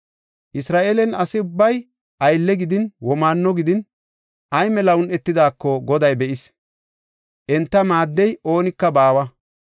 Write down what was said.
Isra7eelen asa ubbay aylle gidin, womaanno gidin, ay mela un7etidaako, Goday be7is; enta maaddiya oonika baawa.